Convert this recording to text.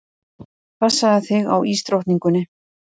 Passaðu þig á ísdrottningunni.